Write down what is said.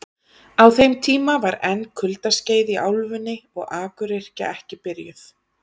Á þeim tíma var enn kuldaskeið í álfunni og akuryrkja ekki byrjuð.